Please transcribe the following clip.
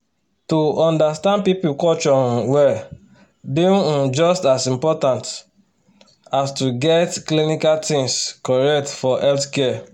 to understand people culture um well dey um just as important as to get clinical things correct for healthcare